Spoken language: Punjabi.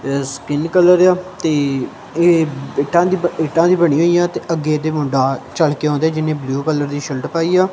ਇਹ ਸਕੀਨ ਕਲਰ ਤੇ ਆ ਇਹ ਇੱਟਾਂ ਇਹ ਇੱਟਾਂ ਦੀ ਬਣੀ ਹੋਈ ਆ ਤੇ ਅੱਗੇ ਤੇ ਮੁੰਡਾ ਚਲ ਕੇ ਆਉਂਦੇ ਜਿੰਨੇ ਬਲੂ ਕਲਰ ਦੀ ਸ਼ਰਟ ਪਾਈ ਆ।